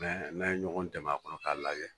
Nɛ n'a ye ɲɔgɔn dɛmɛ a kɔnɔ k'a lajɛ